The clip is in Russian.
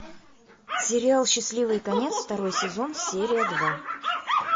сериал счастливый конец второй сезон серия два